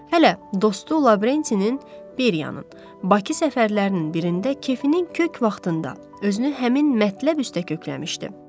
Hələ dostu Lavrentinin Beriyanın Bakı səfərlərinin birində kefinin kök vaxtında özünü həmin mətləb üstə kökləmişdi.